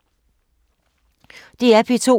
DR P2